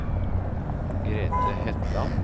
Grethe Hetland